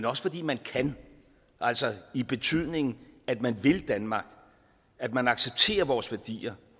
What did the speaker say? også fordi man kan altså i betydningen at man vil danmark at man accepterer vores værdier